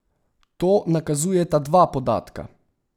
To nakazujeta dva podatka.